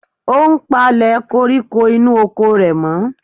Ó ń palẹ̀ koríko inú oko rẹ̀ mọ́.